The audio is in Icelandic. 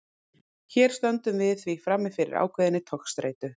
Hér stöndum við því frammi fyrir ákveðinni togstreitu.